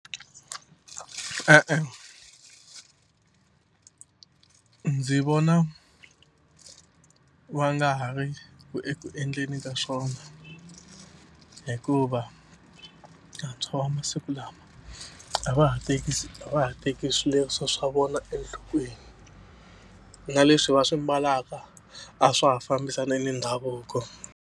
E-e ndzi vona va nga ha ri eku endleni ka swona hikuva vantshwa va masiku lama a va ha tekisi a va ha teki swileriso swa vona enhlokweni na leswi va swi mbalaka a swa ha fambisani ni ndhavuko.